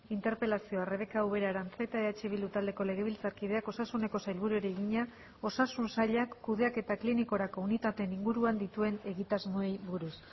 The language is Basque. interpelazioa rebeka ubera aranzeta eh bildu taldeko legebiltzarkideak osasuneko sailburuari egina osasun sailak kudeaketa klinikorako unitateen inguruan dituen egitasmoei buruz